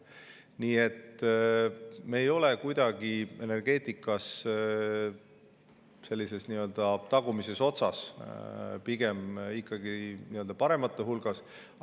Nii et me ei ole energeetikas kuidagi tagumises otsas, pigem ikkagi paremate hulgas.